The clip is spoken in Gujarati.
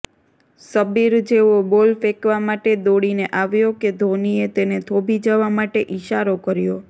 શબ્બીર જેવો બોલ ફેંકવા માટે દોડીને આવ્યો કે ધોનીએ તેને થોભી જવા માટે ઈશારો કર્યો